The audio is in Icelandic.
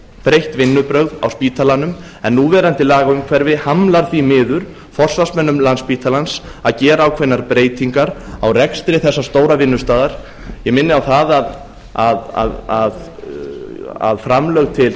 breytt vinnubrögð á spítalanum en núverandi lagaumhverfi hamlar því miður forsvarsmönnum landspítalans að gera ákveðnar breytingar á rekstri þessa stóra vinnustaðar ég minni á það að framlög til